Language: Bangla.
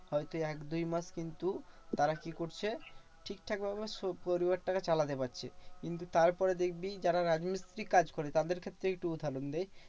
হয়তো এক দুই মাস কিন্তু তারা কি করছে? ঠিকঠাক ভাবে পরিবারটা কে চালাতে পারছে। কিন্তু তার পরে দেখবি যারা রাজমিস্ত্রির কাজ করে তাদের ক্ষেত্রেই একটু উদাহরণ দিই।